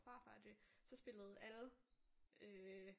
Og farfar og det så spillede alle øh